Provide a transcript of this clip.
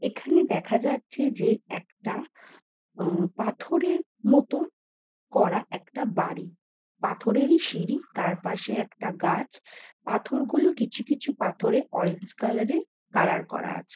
এখানে দেখা যাচ্ছে যে একটা উম পাথরের মতন করা একটা বাড়ি পাথরেরই সিঁড়ি তার পাশে একটা গাছ পাথরগুলো কিছু কিছু পাথরে অরেঞ্জ কালার -এর কালার করা আছে।